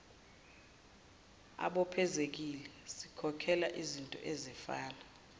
ababophezekile sikhokhela izintoezifana